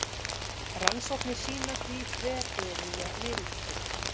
Rannsóknir sýna því þveröfuga niðurstöðu.